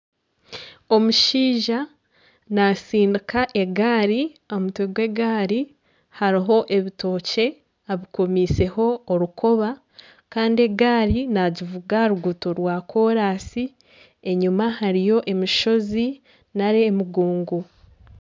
Omushaija natsindika egari. Aha mutwe gw'egaari hariho ebitookye abikomiiseho orukoba kandi egaari nagivuga aha rukuuto rwakoraasi enyima hariyo emishozi nari emigongo.